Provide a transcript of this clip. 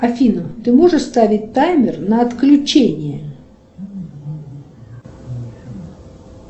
афина ты можешь ставить таймер на отключение